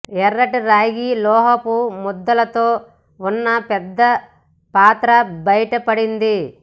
ఎర్రటి రాగి లోహపు ముద్దలతో ఉన్న పెద్ద పాతర బయటపడింది